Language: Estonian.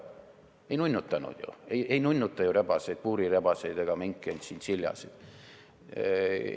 Ei nunnutata ju puurirebaseid, minke ega tšintšiljasid.